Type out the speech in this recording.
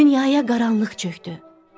Dünyaya qaranlıq çökdü.